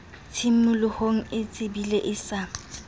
tshimolohong o tsebile e sa